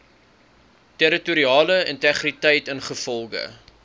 territoriale integriteit ingevolge